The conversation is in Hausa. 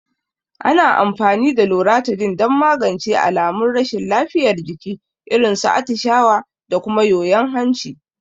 Ana amfani da Loratadin don magance alamun rashin lafiyar jiki, irin su atishawa da kuma yoyon hanci.